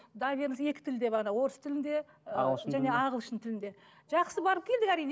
доверенность екі тілде бағана орыс тілінде і және де ағылшын тілінде жақсы барып келдік әрине